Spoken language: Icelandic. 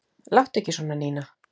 Láttu ekki svona, Nína.